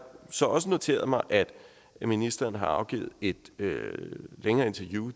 så også noteret mig at ministeren har givet et længere interview